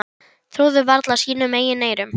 Trúðu varla sínum eigin eyrum.